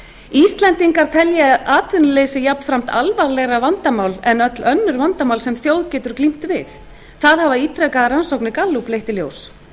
íslendingar telja atvinnuleysi jafnframt alvarlegra vandamál en öll önnur vandamál sem þjóð getur glímt við það hafa ítrekaðar rannsóknir gallups leitt í ljós